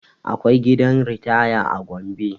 Akwai gidan ritaya a gombe